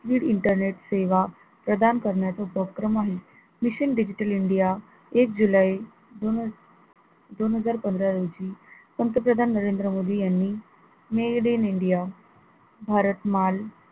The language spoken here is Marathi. with internet सेवा प्रदान करण्याचा उपक्रम आहे, mission digital india एक जुलै दोन ह दोनहजार पंधरा रोजी पंतप्रधान नरेंद्र मोदी यांनी made in india भारत माल